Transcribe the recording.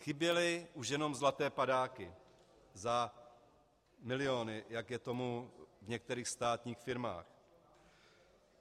Chyběly už jenom zlaté padáky za miliony, jak je tomu v některých státních firmách.